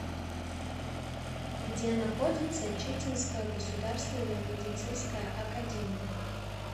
где находится читинская государственная медицинская академия